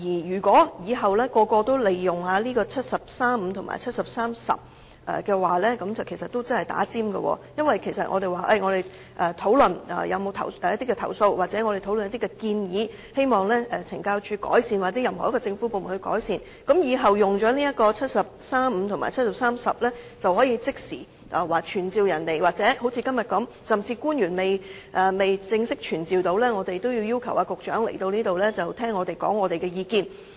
如果日後個個也利用《基本法》第七十三條第五項及第七十三條第十項動議的議案，其實是插隊的做法，因為如果我們要就某些投訴或建議，希望懲教署或任何一個政府部門改善，日後有議員利用《基本法》第七十三條第五項及第七十三條第十項，便可即時要求傳召官員，或好像今天這樣，甚至官員尚未正式傳召，我們已要求局長出席會議聆聽我們的意見。